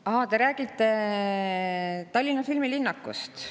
Aa, te räägite Tallinna filmilinnakust.